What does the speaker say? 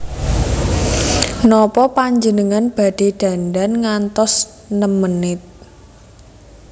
Nopo panjenengan badhe dandan ngantos nem menit?